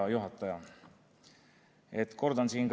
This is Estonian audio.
Hea juhataja!